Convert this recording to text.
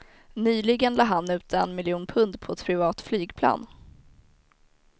Nyligen la han ut en miljon pund på ett privat flygplan.